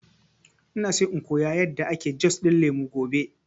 Ina so in koya yanda ake jus ɗin lemu gobe